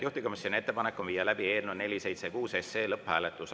Juhtivkomisjoni ettepanek on viia läbi eelnõu 476 lõpphääletus.